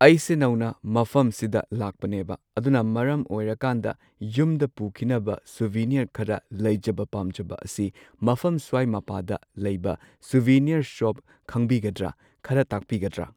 ꯑꯩꯁꯦ ꯅꯧꯅ ꯃꯐꯝꯁꯤꯗ ꯂꯥꯛꯄꯅꯦꯕ ꯑꯗꯨꯅ ꯃꯔꯝ ꯑꯣꯏꯔꯀꯥꯟꯗ ꯌꯨꯝꯗ ꯄꯨꯈꯤꯅꯕ ꯁꯣꯕꯤꯅꯤꯌꯔ ꯈꯔ ꯂꯩꯖꯕ ꯄꯥꯝꯖꯕ ꯑꯁꯤ ꯃꯐꯝ ꯁ꯭ꯋꯥꯏ ꯃꯄꯥꯗ ꯂꯩꯕ ꯁꯣꯕꯤꯅꯤꯌꯔ ꯁꯣꯞ ꯈꯪꯕꯤꯒꯗ꯭ꯔ ꯈꯔ ꯇꯥꯛꯄꯤꯒꯗ꯭ꯔ꯫